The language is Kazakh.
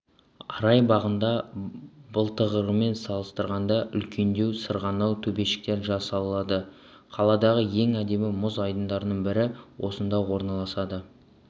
арай бағында былтырғымен салыстырғанда үлкендеу сырғанау төбешіктері жасалады қаладағы ең әдемі мұз айдындарының бірі осында орналасады